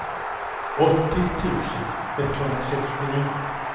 åttio tusen etthundrasextionio